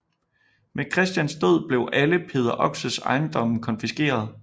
Ved Christians død blev alle Peder Oxes ejendomme konfiskeret